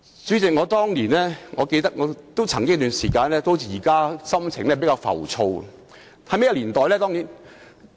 主席，我記得當年有一段時間的心情也像現時般浮躁。